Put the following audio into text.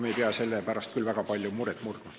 Me ei pea selle pärast küll väga palju muret murdma.